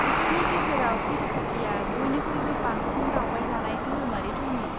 बिसोरनि गेजेराव तिरुपतिआ बयनिख्रुइबो बांसिन दावबायजानाय धोरोमारि थावनि।